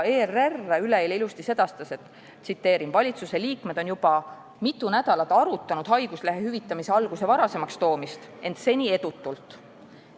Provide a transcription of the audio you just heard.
ERR sedastas üleeile ilusti: "Valitsuse liikmed on juba mitu nädalat arutanud haiguslehe hüvitamise alguse varasemaks toomist, ent seni edutult.